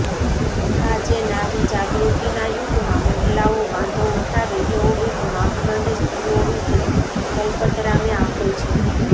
આજે નારીજાગૃતિના યુગમાં મહિલાઓ વાંધો ઉઠાવે એવો એક માપદંડ સ્ત્રીઓ વિશે દલપતરામે આપ્યો છે